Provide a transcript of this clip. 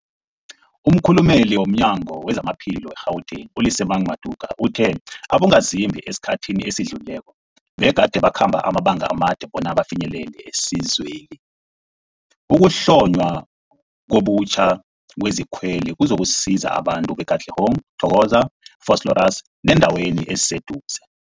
Umkhulumeli womNyango weZamaphilo we-Gauteng, u-Lesemang Matuka uthe abongazimbi esikhathini esidlulileko begade bakhamba amabanga amade bona bafinyelele isizweli. Ukuhlonywa ngobutjha kwezikweli kuzokusiza abantu be-Katlehong, Thokoza, Vosloorus nebeendawo eziseduze.